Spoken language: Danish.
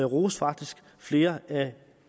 roste faktisk flere af